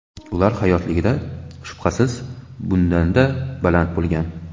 Ular hayotligida, shubhasiz, bundanda baland bo‘lgan.